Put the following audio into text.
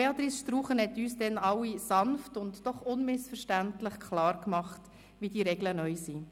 Béatrice Struchen hat uns allen jedoch sanft, aber unmissverständlich die neuen Regeln klar gemacht.